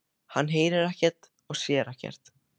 Hann heyrir ekkert og sér ekkert.